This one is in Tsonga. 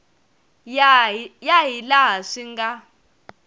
ya hi laha swi nga